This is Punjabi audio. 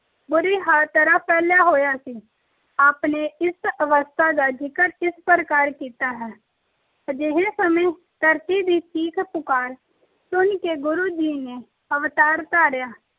ਬੁਰੀ ਤਰ੍ਹਾਂ ਫੇਲਿਆ ਹੋਇਆ ਸੀ। ਆਪ ਨੇ ਇਸ ਅਵਸਥਾ ਦਾ ਜ਼ਿਕਰ ਇਸ ਪ੍ਰਕਾਰ ਕੀਤਾ ਹੈ। ਅਜਿਹੇ ਸਮੇਂ ਧਰਤੀ ਦੀ ਚੀਕ ਪੁਕਾਰ ਸੁਣ ਕੇ ਗੁਰੂ ਜੀ ਨੇ ਅਵਤਾਰ ਧਾਰਿਆ।